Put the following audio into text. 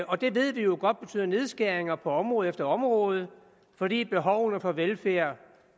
og det ved vi jo godt betyder nedskæringer på område efter område fordi behovene for velfærd